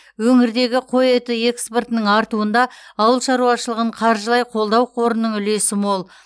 өңірдегі қой еті экспортының артуында ауыл шаруашылығын қаржылай қолдау қорының үлесі мол